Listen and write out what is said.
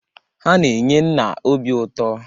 Ha na-enye nna obi ụtọ.